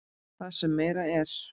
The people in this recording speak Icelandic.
Það sem meira er.